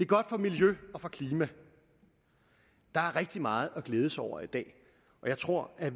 godt for miljøet og for klimaet der er rigtig meget at glæde sig over i dag og jeg tror at